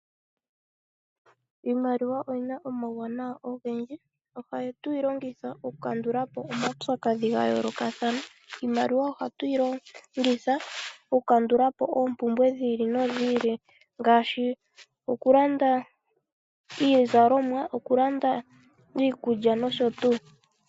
Iimaliwa oyina omawu wanana ogendji. Ohatu yi longoitha oku kandulapo omaupyakadhi ga yoolokathana, iimaliwa ohatu yi longitha oku kandulapo oompumbwe dhi ili nodhi ili ngaashi okulanda iizalomwa okulanda iikulya nosho tuu.